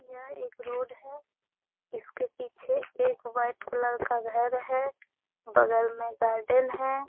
यह एक रोड है। इसके पीछे एक वाइट कलर का एक घर है बगल में गार्डन है।